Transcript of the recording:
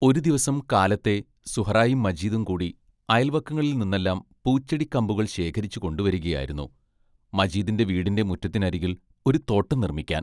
ഒരു ദിവസം കാലത്തെ സുഹ്റായും മജീദും കൂടി അയൽ വക്കങ്ങളിൽ നിന്നെല്ലാം പൂച്ചെടിക്കമ്പുകൾ ശേഖരിച്ചു കൊണ്ടു വരികയായിരുന്നു, മജീദിന്റെ വീടിന്റെ മുറ്റത്തിനരികിൽ ഒരു തോട്ടം നിർമിക്കാൻ.